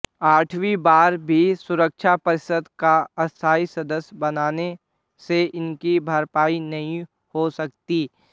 आठवीं बार भी सुरक्षा परिषद का अस्थायी सदस्य बनाने से इसकी भरपाई नहीं हो सकती